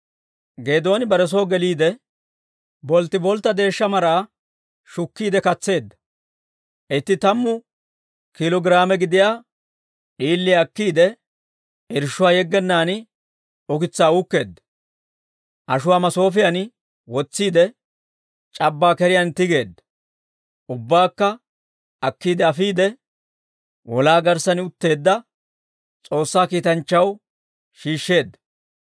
Geedooni bare soo geliide, bolttiboltta deeshsha maraa shukkiide katseedda; itti tammu kiilo giraame gidiyaa d'iiliyaa akkiide, irshshuwaa yeggennaan ukitsaa uukkeedda. Ashuwaa masoofiyan wotsiide, c'abbaa keriyaan tigeedda; ubbaakka akkiide afiide, wolaa garssan utteedda S'oossaa kiitanchchaw shiishsheedda.